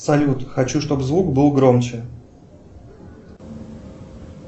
салют хочу чтобы звук был громче